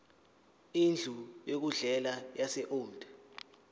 indlu yokudlela yaseold